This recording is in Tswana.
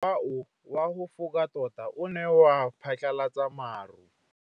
Mowa o wa go foka tota o ne wa phatlalatsa maru.